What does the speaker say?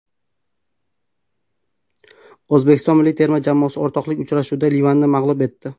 O‘zbekiston milliy terma jamoasi o‘rtoqlik uchrashuvida Livanni mag‘lub etdi.